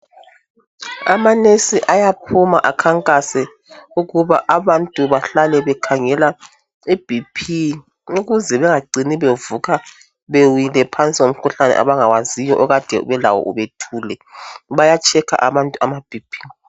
Amanesi ayaphuma akhankase ukuba abantu bahlale bekhangela iBP ukuze bengacini bevuka bewile phansi ngomkhuhlane abangawaziyo okade belawo bethule, bayatshekha abantu amaBP